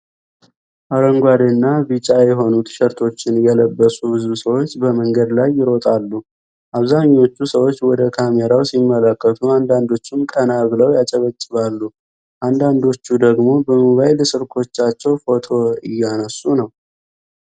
አረንጓዴና ቢጫ የሆኑ ቲ-ሸርቶችን የለበሱ ብዙ ሰዎች በመንገድ ላይ ይሮጣሉ። አብዛኛዎቹ ሰዎች ወደ ካሜራው ሲመለከቱ አንዳንዶቹም ቀና ብለው ያጨበጭባሉ። አንዳንዶቹ ደግሞ በሞባይል ስልኮቻቸው ፎቶ እያነሱ ነው።